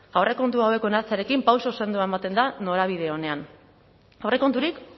aurrekontu hauek onartzearekin pauso sendoak ematen da norabide onean aurrekonturik